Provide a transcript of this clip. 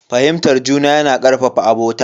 Fahimtar juna yana karfafa abota.